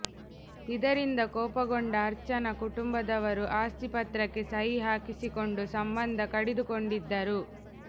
ಇದರಿಂದ ಕೋಪಗೊಂಡ ಅರ್ಚನ ಕುಟುಬಂದವರು ಆಸ್ತಿ ಪತ್ರಕ್ಕೆ ಸಹಿ ಹಾಕಿಸಿಕೊಂಡು ಸಂಬಂಧ ಕಡಿದುಕೊಂಡಿದ್ದರು